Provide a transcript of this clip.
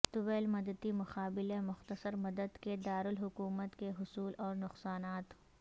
طویل مدتی بمقابلہ مختصر مدت کے دارالحکومت کے حصول اور نقصانات